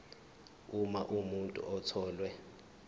uma umuntu etholwe